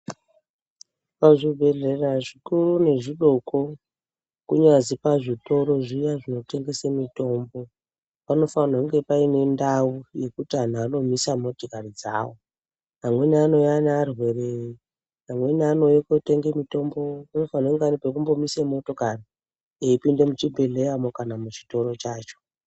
Pazvibhedhlera zvikuru nezvidoko kunyazi pazvitoro zviya zvinotengesa mitombo pano fanirwarwa kunge paine ndau yekuti vantu vanomisa motokari dzavo. Amweni anouya nearwere amweni anouya kotenge mutombo panofanirwa kunge ari pekumbomisa motikari eipinde muchi bhedhlera mwo kana muchitoro chacho.